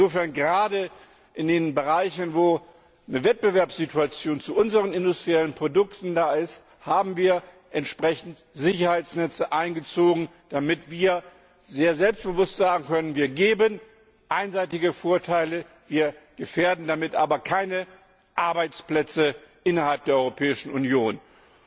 Insofern haben wir gerade in den Bereichen, in denen eine Wettbewerbssituation zu unseren industriellen Produkten besteht, entsprechende Sicherheitsnetze eingezogen, damit wir sehr selbstbewusst sagen können Wir geben einseitige Vorteile, wir gefährden damit aber keine Arbeitsplätze innerhalb der Europäischen Union.